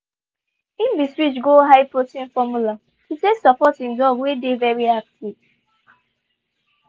he been switch go high protein formula to take support he dog wey dey very active.